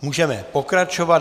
Můžeme pokračovat.